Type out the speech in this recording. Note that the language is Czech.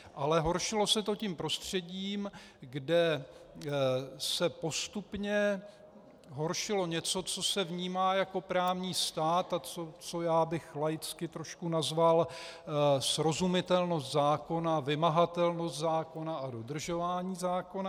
Ale horšilo se to tím prostředím, kde se postupně horšilo něco, co se vnímá jako právní stát a co já bych laicky trošku nazval srozumitelnost zákona, vymahatelnost zákona a dodržování zákona.